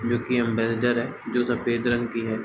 जोकि एक अम्बैसडर है जो सफ़ेद रंग की है।